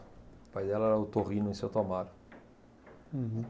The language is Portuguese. O pai dela era otorrino em Santo Amaro. Uhum.